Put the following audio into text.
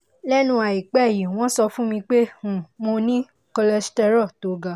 lẹ́nu àìpẹ́ yìí wọ́n sọ fún mi pé um mo ní cholesterol tó ga